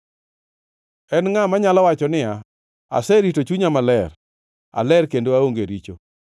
En ngʼa manyalo wacho niya, “Aserito chunya maler; aler kendo aonge richo?”